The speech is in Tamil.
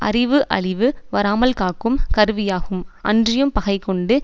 அறிவு அழிவு வராமல் காக்கும் கருவியாகும் அன்றியும் பகை கொண்டு